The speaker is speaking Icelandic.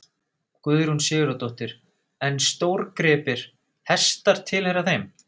Guðrún Sigurðardóttir: En stórgripir, hestar tilheyra þeim?